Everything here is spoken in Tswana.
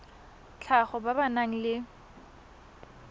tlhago ba ba nang le